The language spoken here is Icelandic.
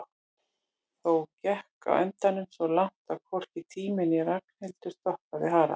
Þó gekk á endanum svo langt að hvorki tími né Ragnhildur stoppaði Harald.